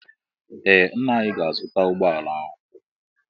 Ee ńnà anyị ga-azuta ụgbọala ọhụụ.